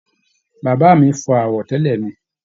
Bá mi fọ àwọ̀tẹ́lẹ̀ mi.